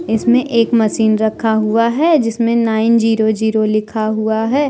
इसमें एक मशीन रखा हुआ है जिसमें नाइन जीरो जीरो लिखा हुआ है।